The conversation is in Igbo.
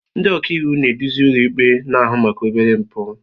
Ndị ọka iwu na-eduzi ụlọikpe na-ahụ maka obere mpụ.